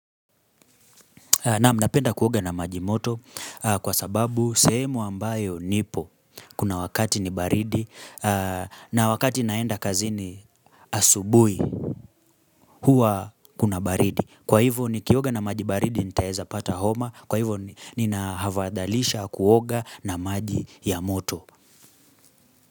Naam, napenda kuoga na maji moto kwa sababu sehemu ambayo nipo kuna wakati ni baridi na wakati naenda kazini asubui huwa kuna baridi. Kwa hivyo nikioga na maji baridi nitaezapata homa kwa hivyo ninahafadhalisha kuoga na maji ya moto.